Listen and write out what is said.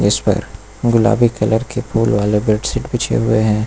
इस पर गुलाबी कलर के फूल वाले बेडशीट बिछे हुए है।